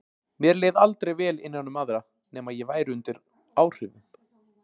Mér leið aldrei vel innan um aðra nema ég væri undir áhrifum.